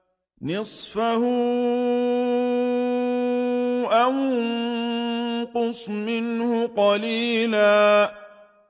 نِّصْفَهُ أَوِ انقُصْ مِنْهُ قَلِيلًا